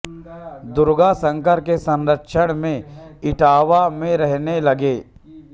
दुर्गाशंकर के संरक्षण में इटावा में रहने लगे